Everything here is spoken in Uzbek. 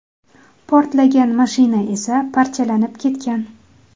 Portlagan mashina esa parchalanib ketgan.